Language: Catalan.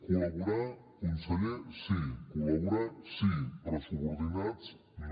col·laborar conseller sí col·laborar sí però subordinats no